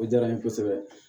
O diyara n ye kosɛbɛ